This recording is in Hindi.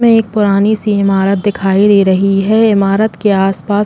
में एक पुरानी सी इमारत दिखाई दे रही है। ईमारत के आस-पास --